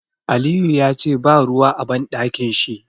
Aliyu yace ba ruwa a Banɗakin shi.